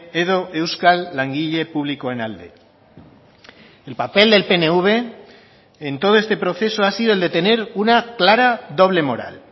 edo euskal langile publikoen alde el papel del pnv en todo este proceso ha sido el de tener una clara doble moral